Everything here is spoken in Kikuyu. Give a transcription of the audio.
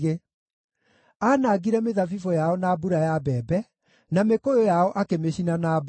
Aanangire mĩthabibũ yao na mbura ya mbembe, na mĩkũyũ yao akĩmĩcina na mbaa.